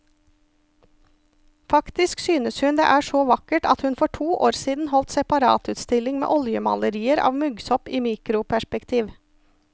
Faktisk synes hun det er så vakkert at hun for to år siden holdt separatutstilling med oljemalerier av muggsopp i mikroperspektiv.